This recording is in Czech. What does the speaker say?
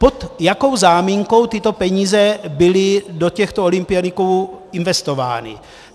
Pod jakou záminkou tyto peníze byly do těchto olympioniků investovány?